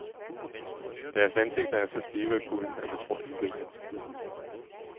Deres ansigter er så stive af kulden, at man tror, at de griner.